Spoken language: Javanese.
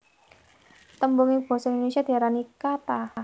Tembung ing basa Indonésia diarani kata